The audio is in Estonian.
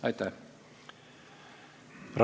Aitäh!